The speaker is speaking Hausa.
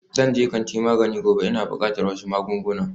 Zan je kantin magani gobe, ina buƙatar wasu magunguna